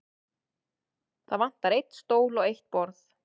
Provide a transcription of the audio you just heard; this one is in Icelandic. Það vantar einn stól og eitt borð.